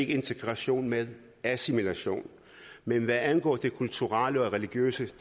integration men assimilation men hvad angår det kulturelle og religiøse